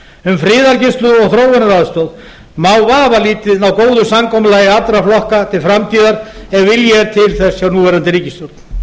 um friðargæslu og þróunaraðstoð má vafalítið ná góðu samkomulagi allra flokka til framtíðar ef vilji er til þess hjá núverandi ríkisstjórn